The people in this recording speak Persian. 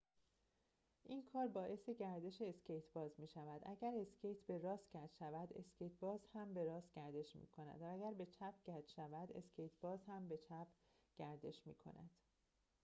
این کار باعث گردش اسکیت‌باز می‌شود اگر اسکیت به راست کج شود اسکیت‌باز هم به راست گردش می‌کند و اگر به چپ کج شود اسکیت‌باز به چپ گردش می‌کند